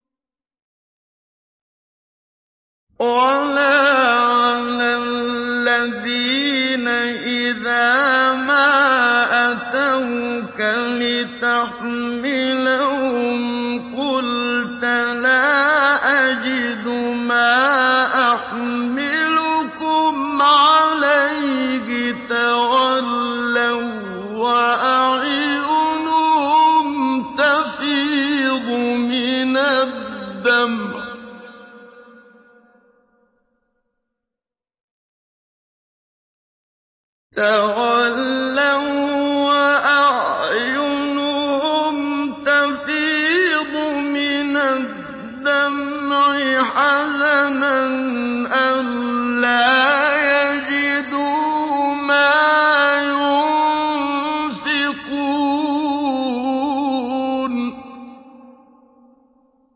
وَلَا عَلَى الَّذِينَ إِذَا مَا أَتَوْكَ لِتَحْمِلَهُمْ قُلْتَ لَا أَجِدُ مَا أَحْمِلُكُمْ عَلَيْهِ تَوَلَّوا وَّأَعْيُنُهُمْ تَفِيضُ مِنَ الدَّمْعِ حَزَنًا أَلَّا يَجِدُوا مَا يُنفِقُونَ